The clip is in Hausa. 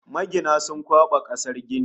Magina sun kwaɓa kasar gini